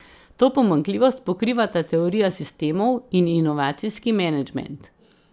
To pomanjkljivost pokrivata teorija sistemov in inovacijski menedžment.